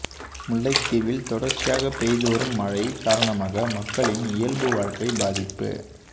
முல்லைத்தீவில் தொடர்ச்சியாக பெய்து வரும் மழை காரணமாக மக்களின் இயல்பு வாழ்க்கை பாதிப்பு